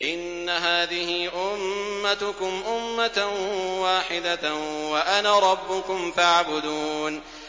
إِنَّ هَٰذِهِ أُمَّتُكُمْ أُمَّةً وَاحِدَةً وَأَنَا رَبُّكُمْ فَاعْبُدُونِ